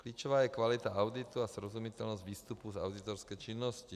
Klíčová je kvalita auditu a srozumitelnost výstupu za auditorské činností.